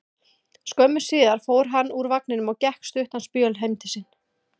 Skömmu síðar fór hann úr vagninum og gekk stuttan spöl heim til sín.